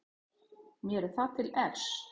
Mér er það til efs.